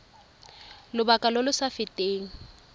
lobaka lo lo sa feteng